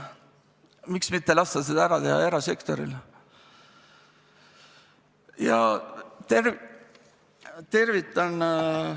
Miks mitte lasta seda teha erasektoril?